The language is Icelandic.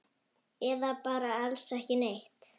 Eða bara alls ekki neitt?